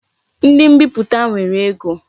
Ndi mbiputa nwere ego